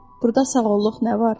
Burda sağolluq nə var?